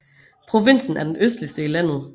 Provinsen er den østligste i landet